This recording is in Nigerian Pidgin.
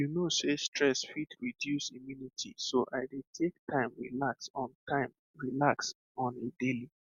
you know sey stress fit reduce immunity so i dey take time relax on time relax on a daily